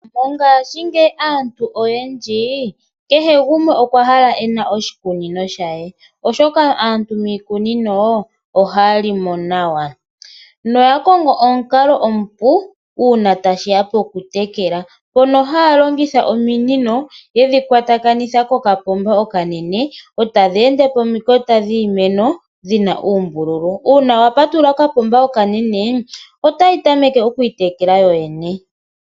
Mongashi ngeyi aantu oyendji kehe gumwe okwahala ena oshikunino shaye oshoka aantu miikunino ohalimo nawa noyakongo omunkalo omupu una tashiya pakutekela pono halongitha ominino yedhi kwatakanitha kokapomba okanene otadhende pomakota ngiimeno dhina uumbululu una wapatulula kokapomba okanene otayi tameke okwitekela yoyene.